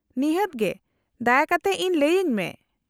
-ᱱᱤᱦᱟᱹᱛ ᱜᱮ, ᱫᱟᱭᱟ ᱠᱟᱛᱮ ᱤᱧ ᱞᱟᱹᱭᱟᱹᱧ ᱢᱮ ᱾